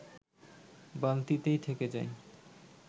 বালতিতেই থেকে যায়